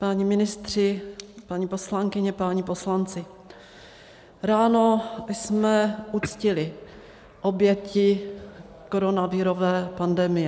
Páni ministři, paní poslankyně, páni poslanci, ráno jsme uctili oběti koronavirové pandemie.